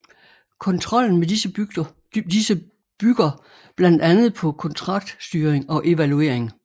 Kontrollen med disse bygger blandt andet på kontraktstyring og evaluering